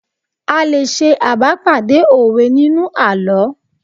A lè ṣe abá padà òwe nínú àlọ́